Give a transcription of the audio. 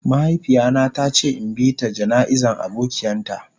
Mahaifiya na ta ce in bi ta jana'iza abokian ta.